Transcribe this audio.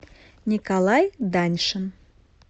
николай даньшин